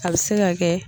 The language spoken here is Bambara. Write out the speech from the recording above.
A bɛ se ka kɛ